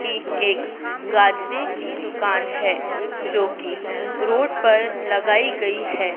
की एक गाजरे की दुकान है जो कि रोड पर लगाई गई है।